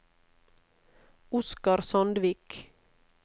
Oscar Sandvik